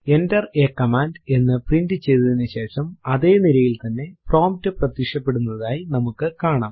enter a command എന്ന് print ചെയ്തതിനുശേഷം അതെ നിരയിൽ തന്നെ പ്രോംപ്റ്റ് പ്രത്യക്ഷപെടുന്നതായി നമുക്ക് കാണാം